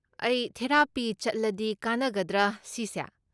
ꯑꯩ ꯊꯦꯔꯥꯄꯤ ꯆꯠꯂꯗꯤ ꯀꯥꯟꯅꯒꯗ꯭ꯔꯥ ꯁꯤꯁꯦ?